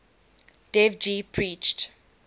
dev ji preached